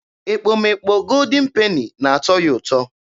Ekpomekpo Goldin Peni na-atọ ya ụtọ.